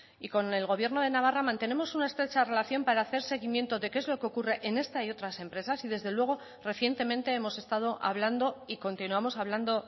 y con el gobierno de navarra mantenemos una estrecha relación para hacer seguimiento de qué es lo que ocurre en esta y otras empresas y desde luego recientemente hemos estado hablando y continuamos hablando